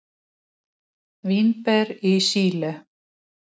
Vínber í Síle.